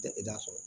Tɛ e da sɔrɔ